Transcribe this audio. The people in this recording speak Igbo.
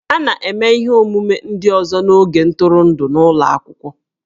A na-eme ihe omume ndị ọzọ n'oge ntụrụndụ n'ụlọ akwụkwọ